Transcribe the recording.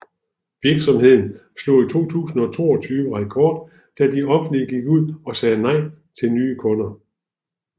Virksomheden slog i 2022 rekord da de offentlig gik ud og sagde nej til nye kunder